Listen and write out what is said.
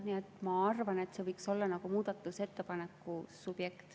Nii et ma arvan, et see võiks olla muudatusettepaneku subjekt.